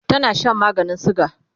tana Shan maganin suga